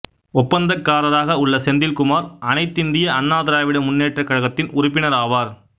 ஒப்பந்தக்காரராக உள்ள செந்தில் குமார் அனைத்திந்திய அண்ணா திராவிட முன்னேற்றக் கழகத்தின் உறுப்பினர் ஆவார்